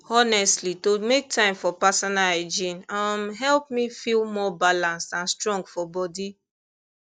honestly to make time for personal hygiene um help me feel more balanced and strong for body